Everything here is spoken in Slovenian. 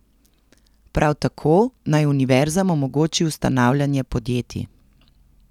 Prav tako naj univerzam omogoči ustanavljanje podjetij.